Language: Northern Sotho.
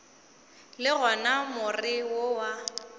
le gona more wo wa